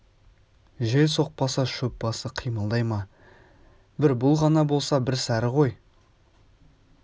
жел соқпаса шөп басы қимылдай ма бір бұл ғана болса бір сәрі ғой